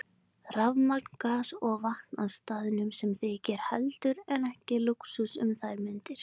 Rafmagn, gas og vatn á staðnum, sem þykir heldur en ekki lúxus um þær mundir.